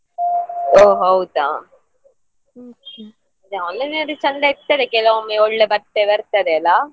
ಒಹ್ ಹೌದಾ online ಅಲ್ಲಿ ಚಂದ ಇರ್ತದೆ ಕೆಲವೊಮ್ಮೆ ಒಳ್ಳೆ ಬಟ್ಟೆ ಬರ್ತದೆ ಅಲ್ಲ.